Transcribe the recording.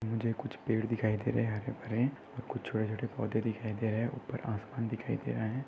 मुझे कुछ पेड़ दिखाई दे रहे है हरे भरे कुछ छोटे छोटे पौधे दिखाई दे रहे ऊपर आसमान दिखाई दे रहा है।